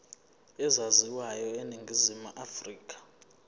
ezaziwayo eningizimu afrika